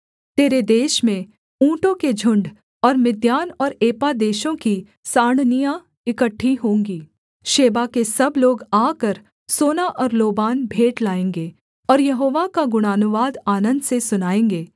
तेरे देश में ऊँटों के झुण्ड और मिद्यान और एपा देशों की साँड़नियाँ इकट्ठी होंगी शेबा के सब लोग आकर सोना और लोबान भेंट लाएँगे और यहोवा का गुणानुवाद आनन्द से सुनाएँगे